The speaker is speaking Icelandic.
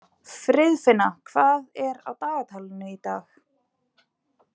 Friðfinna, hvað er á dagatalinu í dag?